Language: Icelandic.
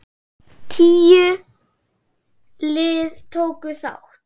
Tíu lið tóku þátt.